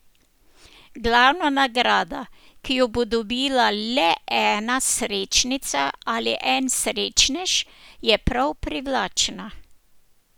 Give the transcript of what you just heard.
Glavna nagrada, ki jo bo dobila le ena srečnica ali en srečnež, je prav privlačna.